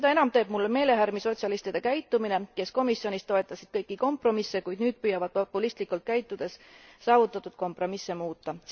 Seda enam teeb mulle meelehärmi sotsialistide käitumine, kes komisjonis toetasid kõiki kompromisse, kuid nüüd püüavad populistlikult käitudes saavutatud kompromisse muuta.